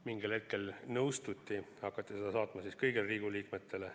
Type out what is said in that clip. Mingil hetkel nõustuti ja hakatigi infot saatma kõigile Riigikogu liikmetele.